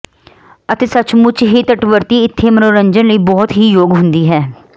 ਅਤੇ ਸੱਚਮੁੱਚ ਹੀ ਤੱਟਵਰਤੀ ਇੱਥੇ ਮਨੋਰੰਜਨ ਲਈ ਬਹੁਤ ਹੀ ਯੋਗ ਹੁੰਦੀ ਹੈ